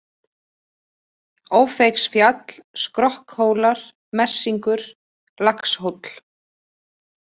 Ófeigsfjall, Skrokkhólar, Messingur, Laxhóll